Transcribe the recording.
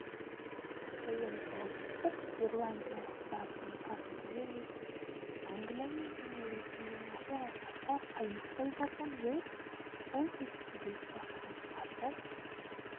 ойын солтүстікирландиялықтардың басымдығымен өтті англиямен және ресеймен ашық айқасқа қаймықпай барған уэльс бұл кездесуде бақытын қарсы